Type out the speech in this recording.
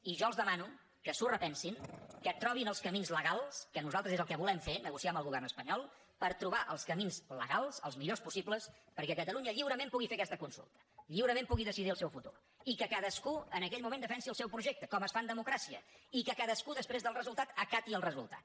i jo els demano que s’ho repensin que trobin els camins legals que nosaltres és el que volem fer negociar amb el govern espanyol per trobar els camins legals els millors possibles perquè catalunya lliurement pugui fer aquesta consulta lliurement pugui decidir el seu futur i que cadascú en aquell moment defensi el seu projecte com es fa en democràcia i que cadascú després del resultat acati el resultat